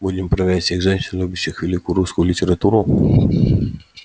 будем проверять всех женщин любящих великую русскую литературу